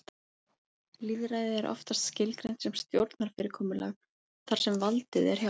Lýðræði er oftast skilgreint sem stjórnarfyrirkomulag þar sem valdið er hjá almenningi.